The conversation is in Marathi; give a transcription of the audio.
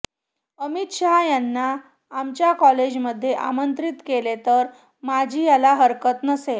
अमित शाह यांना आमच्या कॉलेजमध्ये आमंत्रित केले तर माझी त्याला हरकत नसेल